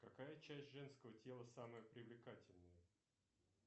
какая часть женского тела самая привлекательная